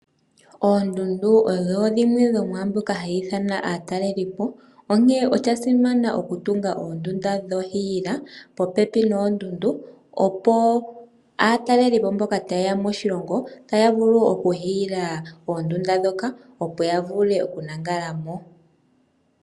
Oondundu odho dhimwe dho mwaa mbyoka hayi ithana aatalelipo. Onkene osha simana okutunga oondunda dhohiila popepi noondundu, opo aatalelipo mboka taye ya moshilongo ya vule okuhiila oondunda ndhoka, opo ya vule okulala mo.